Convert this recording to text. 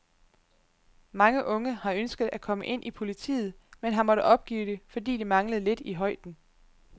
Mange unge har ønsket at komme ind i politiet, men har måttet opgive det, fordi de manglede lidt i højden.